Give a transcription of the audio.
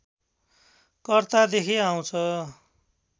कर्तादेखि आउँछ